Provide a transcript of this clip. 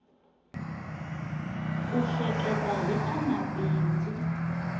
ku hleketa hi ta mabindzu